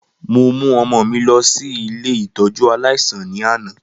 Mo mu ọmọ mi lọ si ile ìtójú aláísàn ni ana.